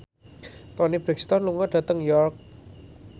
Toni Brexton lunga dhateng York